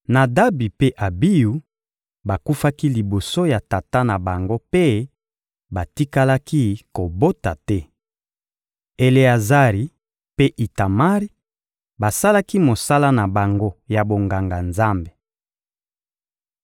Nadabi mpe Abiyu bakufaki liboso ya tata na bango mpe batikalaki kobota te. Eleazari mpe Itamari basalaki mosala na bango ya bonganga-Nzambe.